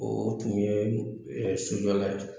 O tun ye sojɔla ye